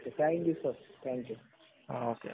thank you sir